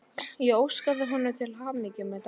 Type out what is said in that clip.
Ég óskaði honum til hamingju með daginn.